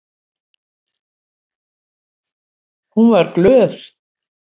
Hún var glöð.